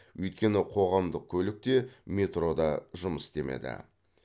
өйткені қоғамдық көлік те метро да жұмыс істемеді